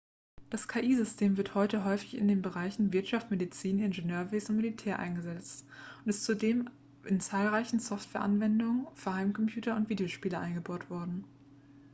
das ki-system wird heute häufig in den bereichen wirtschaft medizin ingenieurwesen und militär eingesetzt und ist zudem in zahlreiche softwareanwendungen für heimcomputer und videospiele eingebaut worden